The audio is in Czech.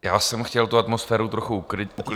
Já jsem chtěl tu atmosféru trochu uklidnit.